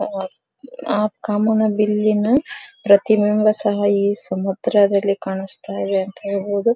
ಆ ಕಾಮನಬಿಲ್ಲಿನ ಪ್ರತಿ ಬಿಂಬ ಸಹ ಈ ಸಮುದ್ರದಲ್ಲಿ ಕಾಣಿಸ್ತಾ ಇದೆ ಅಂತ ಹೇಳಬಹುದು.